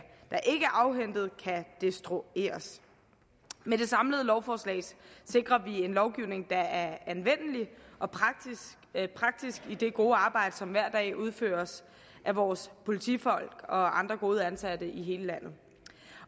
afhentet kan destrueres med det samlede lovforslag sikrer vi en lovgivning der er anvendelig og praktisk i det gode arbejde som hver dag udføres af vores politifolk og andre gode ansatte i hele landet